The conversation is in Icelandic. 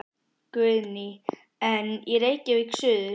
Guðný: En í Reykjavík suður?